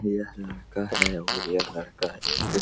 यह लड़का है और यह लड़का एक --